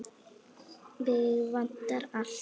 Mig vantar allt.